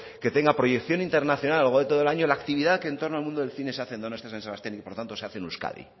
que tenga proyección internacional a lo largo todo el año la actividad que entorno al mundo del cine se hace en donostia san sebastián y por tanto se hace en euskadi